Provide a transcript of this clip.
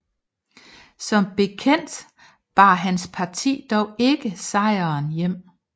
Som bekendt bar hans parti dog ikke sejren hjem